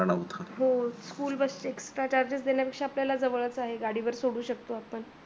हो school bus चे extra charges देण्यापेक्षा आपल्याला जवळच आहे गाडीवर सोडू शकतो आपण